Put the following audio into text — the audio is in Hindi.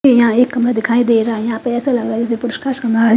ये यहाँ एक खंबा दिखाई देर रहा है यहाँ पे ऐसा लग रहा है जैसे --